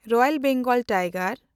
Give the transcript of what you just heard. royal Bengal tiger